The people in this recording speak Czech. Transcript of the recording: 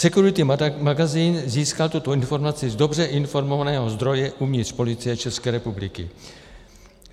Security Magazín získal tuto informaci z dobře informovaného zdroje uvnitř Policie České republiky.